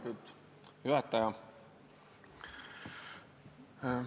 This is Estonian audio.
Lugupeetud juhataja!